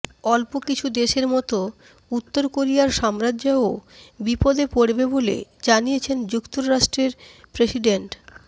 অল্প কিছু দেশের মতো উত্তর কোরিয়ার সাম্রাজ্যও বিপদে পড়বে বলে জানিয়েছেন যুক্তরাষ্ট্রের প্রেসিডেন্ট